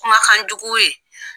Kumakan jugu ye.